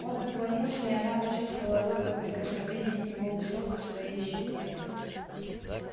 он наклонился и она почувствовала лёгкое прикосновение его усов к своей щеке